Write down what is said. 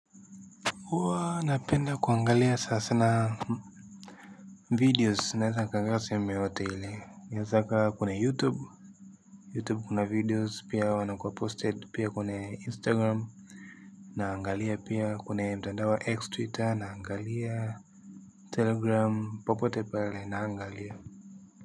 Huwa napenda kuangalia sana sana videos naeza nikaangalia sehemu yeyote ile inaeza ikawa kwenye youtube youtube kuna videos pia huwa inakuwa posted pia kuna instagram naangalia pia kuna mtandao wa x twitter naangalia telegram popote pale naangalia.